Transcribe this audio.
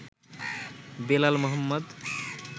Belal Mohammad